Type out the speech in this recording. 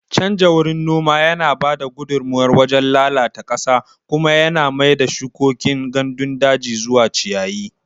Canja wurin noma yana ba da gudummawar wajen lalata ƙasa kuma yana mai da shukokin gandun daji zuwa ciyayi.